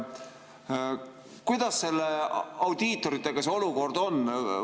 Kuidas audiitoritega see olukord on?